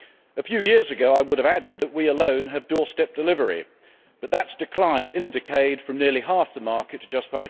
A few years ago I would have added that we alone have doorstep delivery, but that has declined in a decade from nearly half the market to just